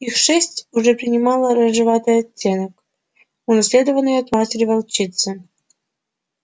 их шерсть уже принимала рыжеватый оттенок унаследованный от матери волчицы